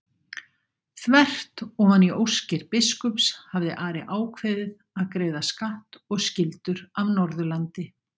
Þvert ofan í óskir biskups hafði Ari ákveðið að greiða skatt og skyldur af Norðurlandi.